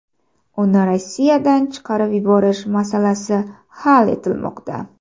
Uni Rossiyadan chiqarib yuborish masalasi hal etilmoqda.